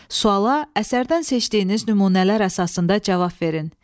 Suala əsərdən seçdiyiniz nümunələr əsasında cavab verin.